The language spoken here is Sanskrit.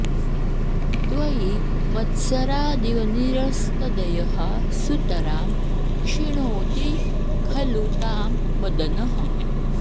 त्वयि मत्सरादिव निरस्तदयः सुतरां क्षिणोति खलु तां मदनः